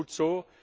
Das ist gut so.